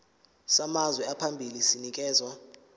samazwe amabili sinikezwa